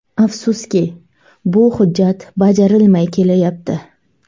Afsuski, bu hujjat bajarilmay kelayapti.